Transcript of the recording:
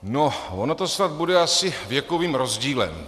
No, ono to snad bude asi věkovým rozdílem.